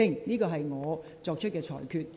這是我作出的裁決。